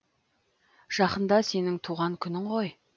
жақында сенің туған күнің ғой